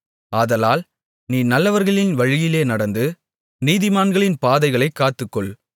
ஆதலால் நீ நல்லவர்களின் வழியிலே நடந்து நீதிமான்களின் பாதைகளைக் காத்துக்கொள்